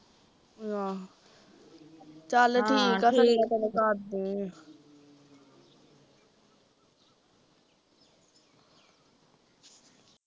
ਆਹੋ ਆਹ ਚਲ ਠੀਕ ਆ ਚੰਗਾ ਤੇਨੂੰ ਕਰਦੀ ਆ